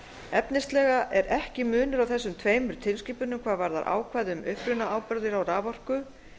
efnislega er ekki munur á þessum tveimur tilskipunum hvað varðar ákvæði um upprunaábyrgð á raforku